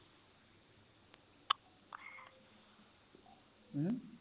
ਹੂੰ